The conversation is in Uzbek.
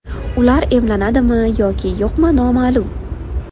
Ular emlanadimi yoki yo‘qmi noma’lum.